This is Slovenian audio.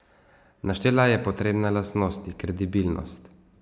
Naštela je potrebne lastnosti: 'Kredibilnost.